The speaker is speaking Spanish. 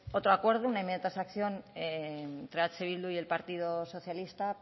hubo otro acuerdo una enmienda de transacción entre eh bildu y el partido socialista